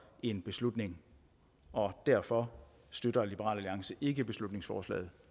en beslutning og derfor støtter liberal alliance ikke beslutningsforslaget